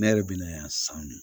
Ne yɛrɛ bɛ na san